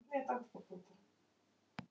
Það er einmitt í anda Lúsíu.